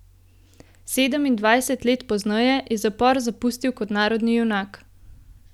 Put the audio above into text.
Sedemindvajset let pozneje je zapor zapustil kot narodni junak.